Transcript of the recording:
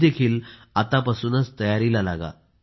तुम्ही देखील आतापासूनच तयारीला लागा